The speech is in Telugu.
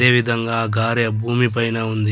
అదేవిధంగా ఆ గారె భూమి పైన ఉంది.